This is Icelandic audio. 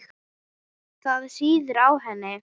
Það sýður á henni.